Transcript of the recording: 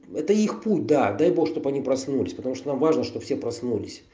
это их путь да дай бог чтоб они проснулись потому что нам важно чтоб все проснулись